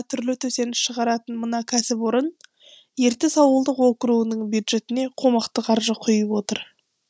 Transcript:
түрлі төсеніш шығаратын мына кәсіпорын ертіс ауылдық округінің бюджетіне қомақты қаржы құйып отыр